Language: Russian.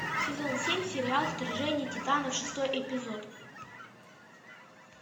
сезон семь сериал вторжение титанов шестой эпизод